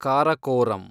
Karakoram